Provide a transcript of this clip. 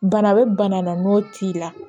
Bana bɛ bana na n'o t'i la